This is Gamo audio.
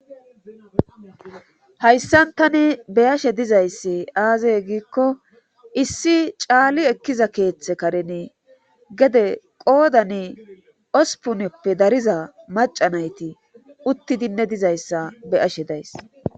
hayssan tani beyashe dizayssi aazay giikko issi caali ekkiza keeththe karen gede qoodani ospuneppe dariza macanayti uttidinne dizayssa beyashe days